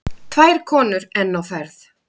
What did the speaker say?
Tvær konur enn á ferð.